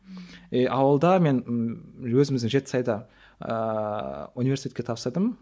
и ауылда мен ммм өзіміздің жетісайда ыыы университетке тапсырдым